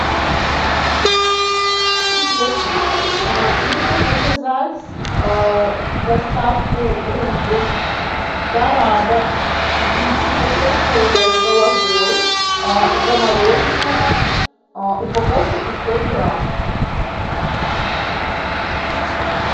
привет нужно заказать доставку рыбы дорада вичи потрошенная с головой замороженная упаковка пятьсот грамм